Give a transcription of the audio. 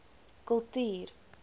kultuur